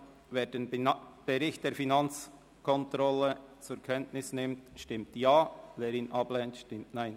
Wer den Bericht der Finanzkontrolle zur Kenntnis nimmt, stimmt Ja, wer dies ablehnt, stimmt Nein.